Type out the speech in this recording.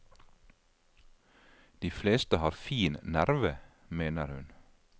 De fleste har fin nerve, mener hun.